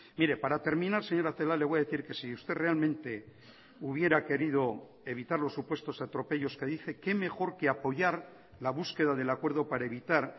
mire para terminar señora celaá le voy a decir que si usted realmente hubiera querido evitar los supuestos atropellos que dice qué mejor que apoyar la búsqueda del acuerdo para evitar